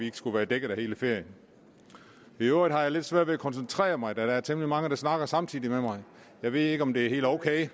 ikke skulle være dækket i hele ferien i øvrigt har jeg lidt svært ved at koncentrere mig da der er temmelig mange der snakker samtidig med mig jeg ved ikke om det er helt ok